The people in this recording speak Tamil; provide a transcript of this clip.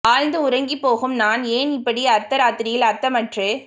ஆழ்ந்து உறங்கிப் போகும் நான் ஏன் இப்படி அர்த்த ராத்தரியில் அர்த்தமற்று